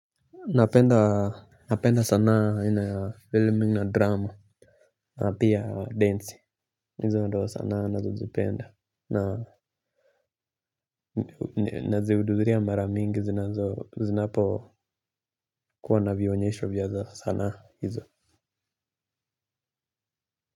Napenda sanaa aina ya filming na drama. Na pia densi. Hizo ndo sanaa nazozipenda. Nazihudhuhuria mara mingi zinapokuwa na vionyesho vya sanaa hizo.